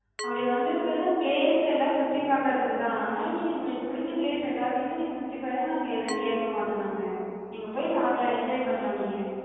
அப்டி வந்திருக்குறது place எல்லா சுத்திப் பாக்குறதுக்குதா. அதனால நீங்க உங்களுக்குப் புடிச்ச place எல்லாத்தயுமே நீங்க சுத்திப் பாருங்க, நாங்க எது கேக்க மாட்டோ நாங்க. நீங்க போய்ப் பாக்கலா, enjoy பண்ணலா நீங்க.